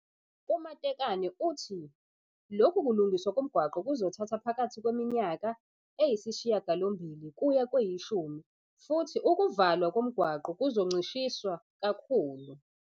U-Matekane uthi lokhu kulungiswa komgwaqo kuzothatha phakathi kweminyaka [] eyisishiyagalombili kuya kweyishumi futhi ukuvalwa komgwaqo kuzoncishiswa kakhulu.